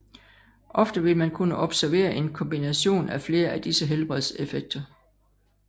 Ofte vil man kunne observere en kombination av flere af disse helbredseffekter